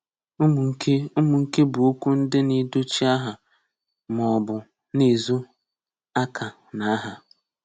Umunke Umunke bu okwu ndi na-edochi aha ma o bu na-ezo aka na aha.